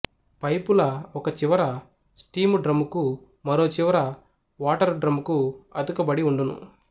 పైపుల ఒక చివర స్టీము డ్రమ్ముకు మరో చివర వాటరు డ్రమ్ముకు అతుకబడి వుండు ను